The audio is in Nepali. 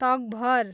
तकभर